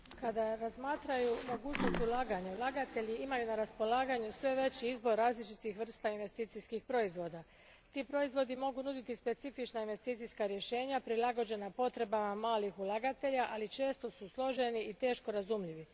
Gospođo predsjednice, kada razmatraju mogućnost ulaganja, ulagatelji imaju na raspolaganju sve veći izbor različitih vrsta investicijskih proizvoda. Ti proizvodi mogu nuditi specifična investicijska rješenja prilagođena potrebama malih ulagatelja, ali često su složeni i teško razumljivi.